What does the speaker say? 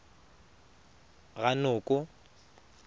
ranoko